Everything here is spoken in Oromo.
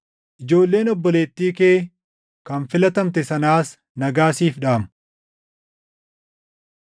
Ijoolleen obboleettii kee kan filatamte sanaas nagaa siif dhaamu.